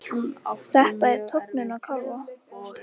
Þetta er tognun á kálfa.